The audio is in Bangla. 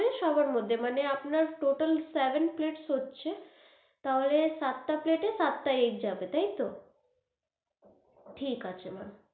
ওই সবার মধ্যে মানে ওই আপনার total টা seven plates হচ্ছে তাহলে সাত টা plate সাত টা egg যাবে, তাই তো? ঠিক আছে ma'am.